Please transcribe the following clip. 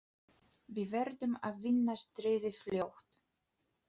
Við verðum að vinna stríðið fljótt.